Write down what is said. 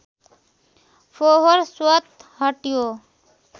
फोहोर स्वतः हट्यो